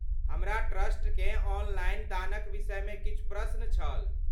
हमरा ट्रस्टकेँ ऑनलाइन दानक विषयमे किछु प्रश्न छल।